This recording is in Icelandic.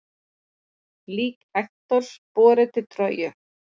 Lík Hektors borið til Tróju.